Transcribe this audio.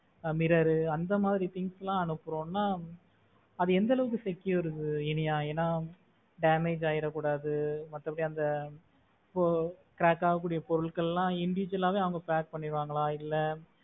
mirror அந்த மாதிரி things எல்லாம் அனுப்புறோம்ன்னா அது எந்த அளவுக்கு secure இனியா? ஏன்னா damage ஆகிட கூடாது. மத்த படி அந்த இப்போ crack ஆக கூடிய பொருளுக்கு எல்லாம் individual ஆ வே அவங்க pack பண்ணுவாங்களா இல்ல.